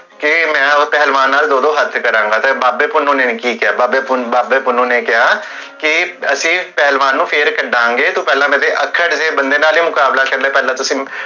ਕੀ ਮੈ ਓਹ ਪਹਲਵਾਨ ਨਾਲ ਦੋ ਦੋ ਹਥ ਕਰਾਂਗਾ ਬਾਬੇ ਪੁੰਨੁ ਨੇ ਕੀ ਕੇਹਾ? ਬਾਬੇ ਪੁੰਨੁ ਨੇ ਕੇਹਾ ਕੀ ਅਸੀਂ ਪਹਲਵਾਨ ਨੂੰ ਫੇਰ ਕਢਾਂਗੇ ਤੂੰ ਪੇਹ੍ਲਾਂ ਮੇਰੇ ਅਖਾਂ ਚ ਜੇਹੜਾ ਬੰਦੇ ਨਾਲ ਮੁਕਾਬਲਾ, ਪੇਹ੍ਲਾਂ ਤੁਸੀਂ